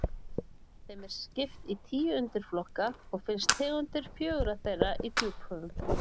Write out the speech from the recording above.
Þeim er skipt í tíu undirflokka og finnast tegundir fjögurra þeirra í djúphöfum.